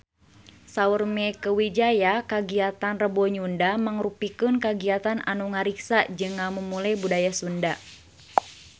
Saur Mieke Wijaya kagiatan Rebo Nyunda mangrupikeun kagiatan anu ngariksa jeung ngamumule budaya Sunda